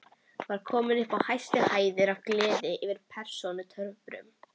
Var kominn upp í hæstu hæðir af gleði yfir persónutöfrunum.